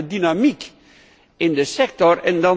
Ik wijs op de dynamiek in de sector.